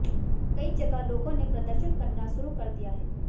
कई जगह लोगों ने प्रदर्शन करना शुरू कर दिया है